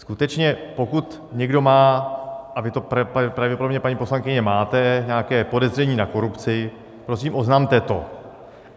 Skutečně, pokud někdo má - a vy to pravděpodobně, paní poslankyně, máte - nějaké podezření na korupci, prosím, oznamte to.